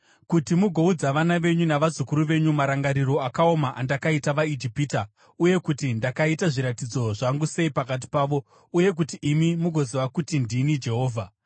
kuti mugoudza vana venyu navazukuru venyu marangiro akaoma andakaita vaIjipita uye kuti ndakaita zviratidzo zvangu sei pakati pavo, uye kuti imi mugoziva kuti ndini Jehovha.”